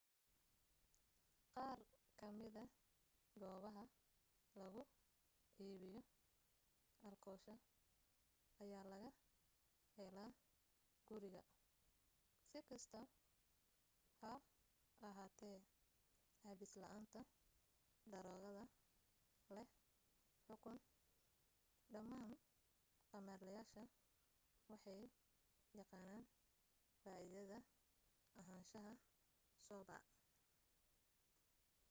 qaar kamida goobaha lagu iibiyo alkoosha ayaa laga helaa guriga.si kasta ha ahaatee cabis la'aanta daroogada leh xukun dhamaan khamaarleyaasha waxay yaqaanaan faaidada ahaanshaha sober